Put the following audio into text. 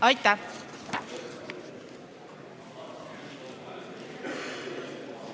Aitäh!